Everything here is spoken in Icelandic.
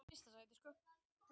Efast um að samkomulag náist